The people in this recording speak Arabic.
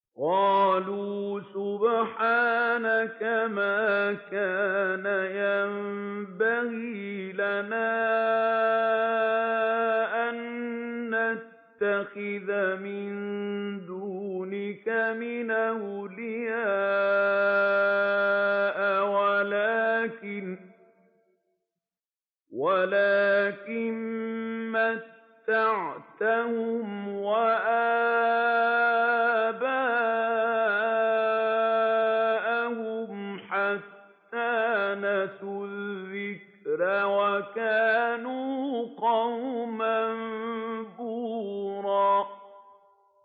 قَالُوا سُبْحَانَكَ مَا كَانَ يَنبَغِي لَنَا أَن نَّتَّخِذَ مِن دُونِكَ مِنْ أَوْلِيَاءَ وَلَٰكِن مَّتَّعْتَهُمْ وَآبَاءَهُمْ حَتَّىٰ نَسُوا الذِّكْرَ وَكَانُوا قَوْمًا بُورًا